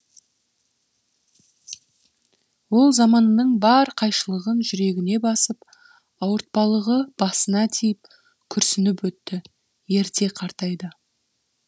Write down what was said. ол заманының бар қайшылығын жүрегіне басып ауыртпалығы басына тиіп күрсініп өтті ерте қартайды